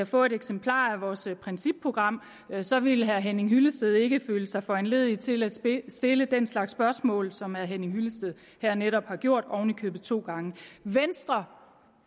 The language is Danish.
får et eksemplar af vores principprogram og så vil herre henning hyllested ikke føle sig foranlediget til at stille stille den slags spørgsmål som herre henning hyllested her netop har gjort oven i købet to gange venstre